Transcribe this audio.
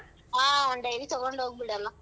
ಆ ಒಂದ್ dairy ತೊಗೊಂಡ್ ಹೋಗ್ಬಿಡಲ್ಲ.